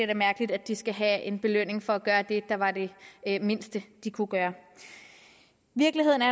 da mærkeligt at de skal have en belønning for at gøre det der var det mindste de kunne gøre virkeligheden er